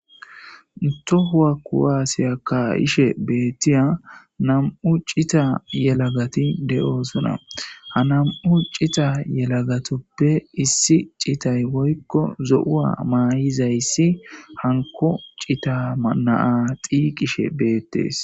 tohuwa kuwaasiya kayishe beettiya nam7u cita yelagati de7oosuna ha nam7u cita yelagatoppe issi citay woykko zo7uwa maayizayssi hanko cita manaa xiiqishe beettees